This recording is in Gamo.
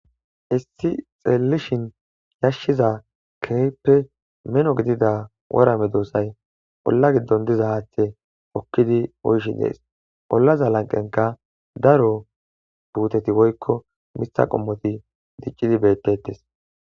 issi xeellishin yashshiza keyppe meno gidida worame doossay olla giddon diza haathe okkidi oyshi dees ollaza lanqenka daro puuteti woykko mitha qommoti diccidi bettettes